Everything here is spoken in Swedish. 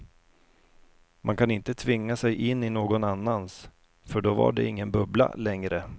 Man kan inte tvinga sig in i någon annans, för då var det ingen bubbla längre.